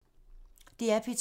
DR P2